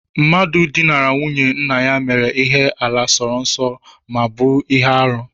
Mmadụ dinara nwunye nna ya mere ihe àlà sọ nsọ ma ọ bụ ihe arụ